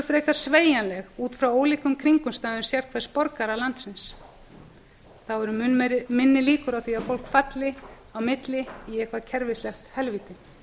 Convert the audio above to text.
frekar sveigjanleg út frá ólíkum kringumstæðum sérhvers borgara landsins þá eru mun minni líkur á því að fólk falli á milli í eitthvert kerfislegt helvíti